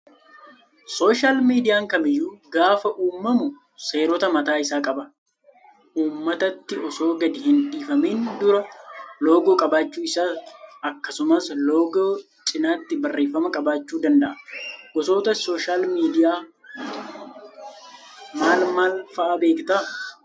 Sooshaal miidiyaan kamiyyuu gaafa uumamu seerota mataa isaa qaba. Uummatatti osoo gadi hin dhiifamiin dura loogoo qabaachuu isaa akkasumas loogoo cinaatti barreeffama qabaachuu danda'a. Gosoota sooshaal miidiyaa maal maal fa'aa beektaa?